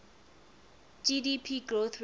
gdp growth rate